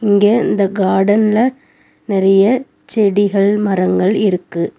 இங்க இந்த காடன்ல நெறைய செடிகள் மரங்கள் இருக்கு.